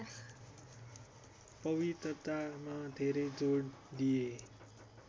पवित्रतामा धेरै जोड दिए